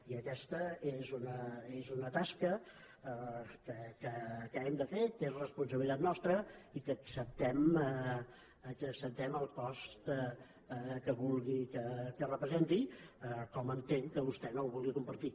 i aquesta és una tasca que hem de fer que és responsabilitat nostra i que acceptem el cost que vulgui que representi com entenc que vostè no el vulgui compartir